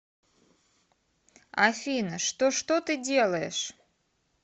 афина что что ты делаешь